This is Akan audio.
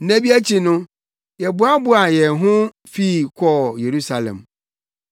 Nna bi akyi no, yɛboaboaa yɛn ho fii hɔ kɔɔ Yerusalem.